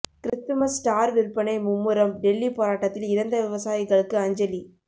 Christmas star விற்பனை மும்முரம் டெல்லி போராட்டத்தில் இறந்த விவசாயிகளுக்கு அஞ்சலி